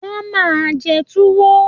Wọ́n máa jẹ Tuwo